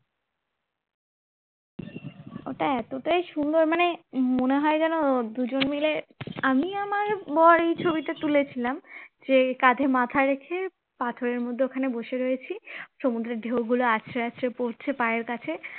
ওটা এতটাই সুন্দর মানে মনে হয় যেন দুজন মিলে আমি আমার বর এই ছবিটা তুলেছিলাম যে কাঁধে মাথা রেখে পাথরের মধ্যে ওখানে বসে রয়েছি সমুদ্রের ঢেউগুলো আছড়ে আছড়ে পড়ছে পায়ের কাছে